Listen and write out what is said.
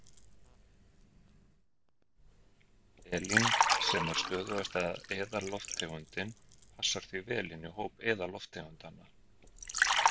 Helín, sem er stöðugasta eðallofttegundin, passar því vel inn í hóp eðallofttegundanna.